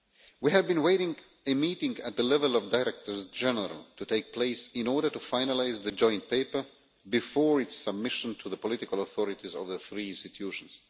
We have been waiting for a meeting at directors general level to take place in order to finalise the joint paper before its submission to the political authorities of the three institutions.